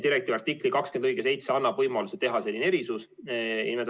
Direktiivi artikli 20 lõige 7 annab võimaluse teha selline erisus.